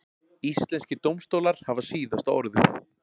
Íslenskir dómstólar hafa síðasta orðið